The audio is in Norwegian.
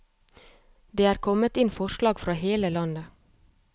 Det er kommet inn forslag fra hele landet.